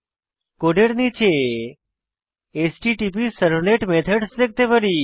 কোডের নীচে HttpServlet methods দেখতে পারি